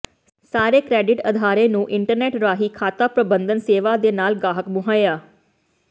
ਸਾਰੇ ਕ੍ਰੈਡਿਟ ਅਦਾਰੇ ਨੂੰ ਇੰਟਰਨੈੱਟ ਰਾਹੀ ਖਾਤਾ ਪ੍ਰਬੰਧਨ ਸੇਵਾ ਦੇ ਨਾਲ ਗਾਹਕ ਮੁਹੱਈਆ